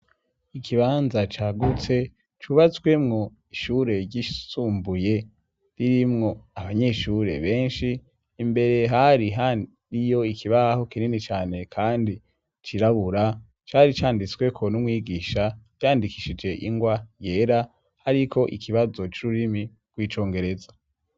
Ikibanza cagutse cubatswemwo ishure ryisumbuye ririmwo abanyeshure benshi imbere hari ariyo ikibaho kinini cane kandi cirabura cari canditsweko n'umwigisha ryandikishije ingwa yera ariko ikibazo c'ururimi kw'icongereza.